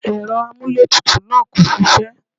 Ẹ̀rọ amúlétutù náà kò ṣiṣẹ́.